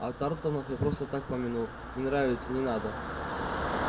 а тарлтонов я просто так помянул не нравятся не надо